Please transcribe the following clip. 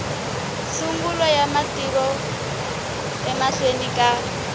sungula ya mavito emahlweni ka